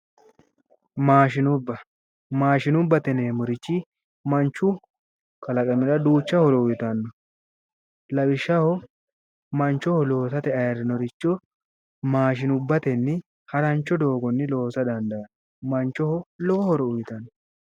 Maashinubba maashinubbate yineemmorichi manchu kalaqamira duucha horo uyitanno lawishaho manchoho loosate ayirrinoricho maashinubbatenni harancho doogonni loosa dandaanno manchoho lowo horo uyitanno